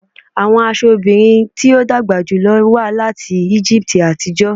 Awọn aṣọ obirin ti o dagba julọ wa lati Egipti atijọ